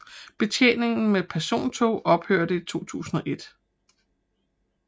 Betjeningen med persontog ophørte i 2001